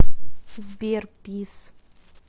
сбер пис